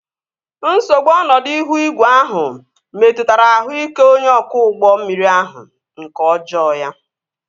Nsogbu ọnọdụ ihu igwe ahụ metụtara ahụ ike onye ọkwọ ụgbọ mmiri ahụ nke ọjọọ ya